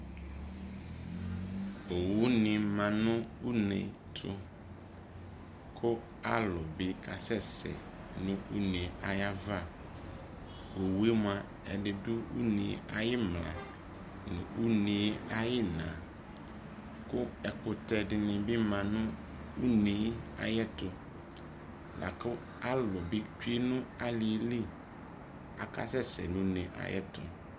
owu ne ma no une ɛto ko alo bi kasɛ no une ayava owue moa, edi do une ayi imla no une ayi ina ko ɛkotɛ dini bi ma no une ayɛto lako alu bi tsue no aliɛ li aka sɛ sɛ no une ayɛto